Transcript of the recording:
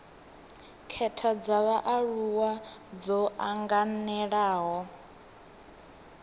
khetha dza vhaaluwa dzo anganelaho